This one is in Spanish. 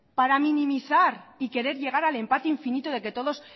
para minimizar y querer llegar al empate infinito de que todos